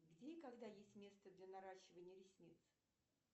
где и когда есть место для наращивания ресниц